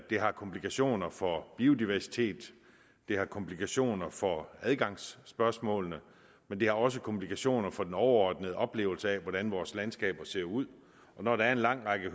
det har komplikationer for biodiversitet det har komplikationer for adgangsspørgsmålene og det har også komplikationer for den overordnede oplevelse af hvordan vores landskab ser ud når der er en lang række